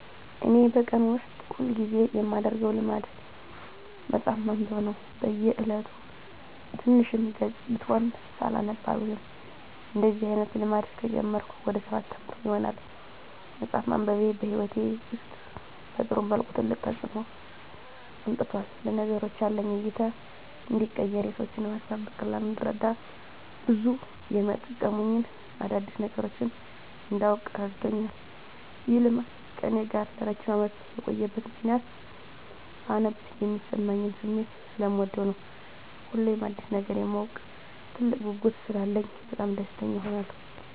እኔ በቀን ውስጥ ሁል ጊዜ የማደረገው ልማድ መጽሀፍ ማንበብ ነው። በ እየለቱ ትንሽም ገፅ ብትሆን ሳላነብ አልውልም። እንደዚህ አይነት ልማድ ከጀመርኩ ወደ ሰባት አመት ይሆናል። መፅሃፍ ማንበቤ በህይወቴ ውስጥ በጥሩ መልኩ ትልቅ ተፅዕኖ አምጥቷል። ለነገሮች ያለኝ እይታ እንዲቀየር፣ የሰዎችን ሀሳብ በቀላሉ እንድረዳ፣ ብዙ የመጠቅሙኝን አዳዲስ ነገሮች እንዳውቅ እረድቶኛል። ይህ ልማድ ከእኔ ጋር ለረጅም አመት የቆየበት ምክንያትም ሳነብ የሚሰማኝን ስሜት ሰለምወደው ነው። ሁሌም አዲስ ነገር የማወቅ ትልቅ ጉጉት ስላለኝ በጣም ደስተኛ እሆናለሁ።